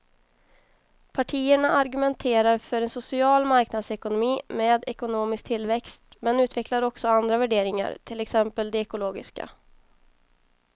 Partierna argumenterar för en social marknadsekonomi med ekonomisk tillväxt men utvecklar också andra värderingar, till exempel de ekologiska.